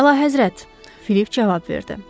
Əlahəzrət, Philip cavab verdi.